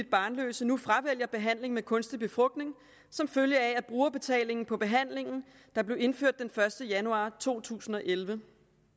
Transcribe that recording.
barnløse nu fravælger behandling med kunstig befrugtning som følge af brugerbetalingen på behandlingen der blev indført den første januar 2011